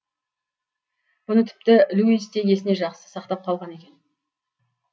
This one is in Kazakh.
бұны тіпті луис те есіне жақсы сақтап қалған екен